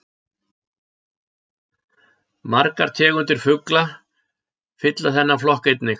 Margar tegundir fugla fylla þennan flokk einnig.